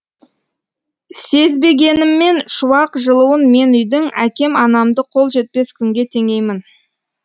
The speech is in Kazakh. сезбегеніммен шуақ жылуын мен үйдің әкем анамды қол жетпес күнге теңеймін